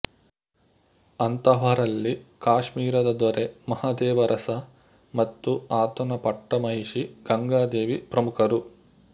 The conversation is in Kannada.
ಅಂತಹವರಲ್ಲಿ ಕಾಶ್ಮೀರದ ದೊರೆ ಮಹದೇವರಸ ಮತ್ತು ಆತನ ಪಟ್ಟ ಮಹಿಷಿ ಗಂಗಾದೇವಿ ಪ್ರಮುಖರು